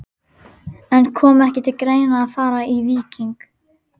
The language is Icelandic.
En kom ekki til greina að fara í Víking?